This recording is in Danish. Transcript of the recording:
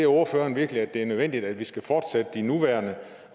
ordføreren virkelig at det er nødvendigt at vi skal fortsætte de nuværende